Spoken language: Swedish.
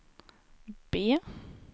B